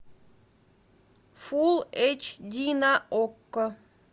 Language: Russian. фулл эйч ди на окко